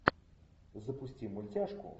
запусти мультяшку